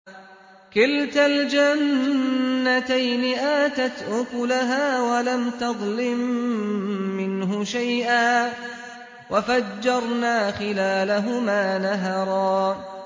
كِلْتَا الْجَنَّتَيْنِ آتَتْ أُكُلَهَا وَلَمْ تَظْلِم مِّنْهُ شَيْئًا ۚ وَفَجَّرْنَا خِلَالَهُمَا نَهَرًا